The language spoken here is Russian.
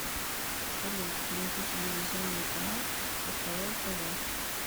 салют найди телевизионный канал кхл тв